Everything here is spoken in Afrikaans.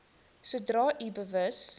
sodra u bewus